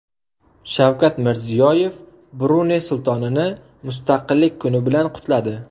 Shavkat Mirziyoyev Bruney Sultonini Mustaqillik kuni bilan qutladi.